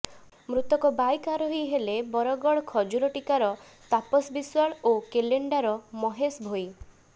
ମୃତକ ବାଇକ୍ ଆରୋହୀ ହେଲେ ବରଗଡ଼ ଖଜୁରଟିକ୍ରାର ତାପସ ବିଶ୍ବାଳ ଓ କେଲେଣ୍ଡାର ମହେଶ ଭୋଇ